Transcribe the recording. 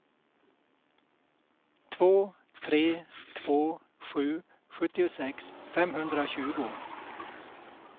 två tre två sju sjuttiosex femhundratjugo